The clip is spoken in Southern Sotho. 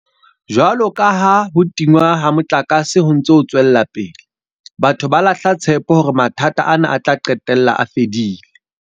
Jwalo ka ha ho tingwa ha motlakase ho ntse ho tswela pele, batho ba lahla tshepo hore mathata ana a tla qetella a fedile.